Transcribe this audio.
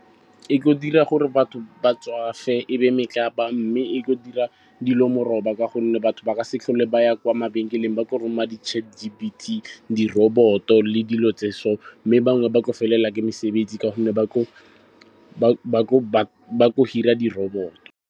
E tlo dira gore batho ba tswafe be metlapa mme e tlo dira dilo moraba ka gonne batho ba ka se tlhole ba ya kwa mabenkeleng. Ba tlo roma di-Chat G_P_T, di-robot-o le dilo tse so. Mme bangwe ba tlo felela mesebetsi ka gonne ba tlo hire-a di-robot-o.